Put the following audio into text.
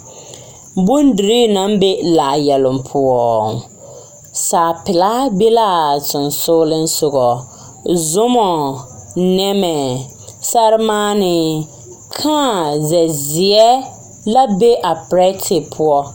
Bondirii naŋ be laayɛloŋ poɔ saapelaa be laa sensoglesoga zoma nemɛ sɛmaanee kãã zɛzeɛ la be a perɛte poɔ.